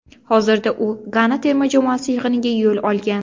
Hozirda u Gana terma jamoasi yig‘iniga yo‘l olgan.